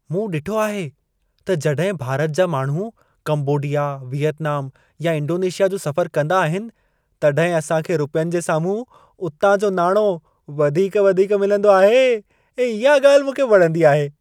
मूं ॾिठो आहे त जॾहिं भारत जा माण्हू कंबोडिया, वियतनाम या इंडोनेशिया जो सफ़रु कंदा आहिनि तॾहिं असां खे रुपियनि जे साम्हूं उतां जो नाणो वधीक वधीक मिलंदो आहे ऐं इहा ॻाल्हि मूंखे वणंदी आहे।